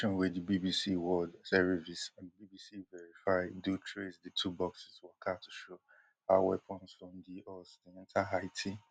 investigation wey di bbc world serivice and bbc verify do trace di two boxes waka to show how weapons from di us dey enta haiti